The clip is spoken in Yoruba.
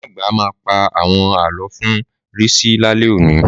Màmá àgbà ma pà àwon àlọ fún Risi lálẹ́ òní.